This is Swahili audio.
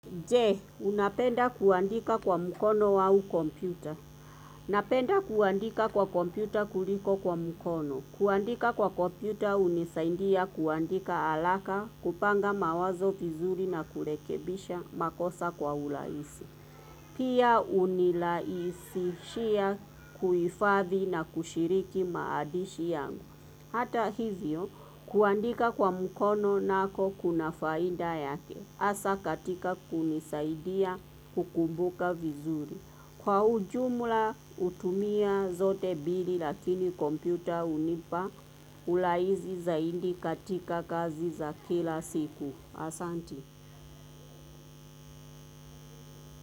Je, unapenda kuandika kwa mkono au kompyuta. Unapenda kuandika kwa kompyuta kuliko kwa mkono. Kuandika kwa kompyuta hunisaidia kuandika haraka, kupanga mawazo vizuri na kurekebisha, makosa kwa urahisi. Pia hunirahisishia kuhifadhi na kushiriki maadishi yangu. Hata hivyo, kuandika kwa mkono nako kuna faida yake. Hasa katika kunisaidia kukumbuka vizuri. Kwa ujumla hutumia zote mbili lakini kompyuta hunipa urahisi zaidi katika kazi za kila siku. Asanti.